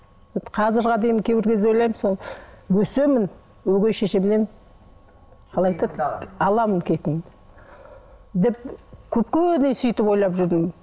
қазірге дейін кейбір кезде ойлаймын сол өсемін өгей шешемнен қалай айтады аламын кегімді деп көпке дейін сөйтіп ойлап жүрдім